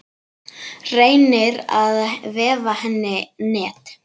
Reynir að vefa henni net.